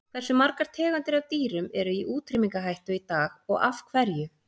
Hversu margar tegundir af dýrum eru í útrýmingarhættu í dag og af hverju?